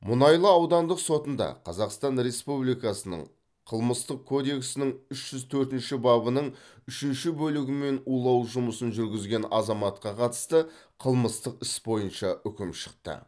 мұнайлы аудандық сотында қазақстан республикасының қылмыстық кодексінің үш жүз төртінші бабының үшінші бөлігімен улау жұмысын жүргізген азаматқа қатысты қылмыстық іс бойынша үкім шықты